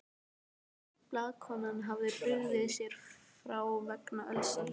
Blaðakonan hafði brugðið sér frá vegna ölsins.